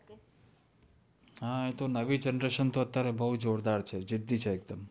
હા એ તો નવી generation તો બહું જોરદાર છે. જિદ્દી છે એકદમ.